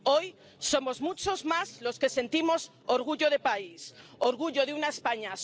Hoy somos muchos más los que sentimos orgullo de país, orgullo de una España solidaria que atiende a quien más lo necesita.